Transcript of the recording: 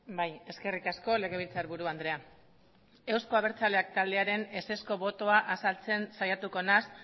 bai eskerrik asko legebiltzarburu andrea euzko abertzaleak taldearen ezezko botoa azaltzen saiatuko naiz